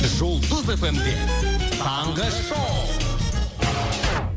жұлдыз эф эм де таңғы шоу